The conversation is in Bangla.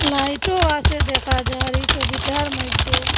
লাইটও আসে দেখা যার এই সবিটার মইধ্যে।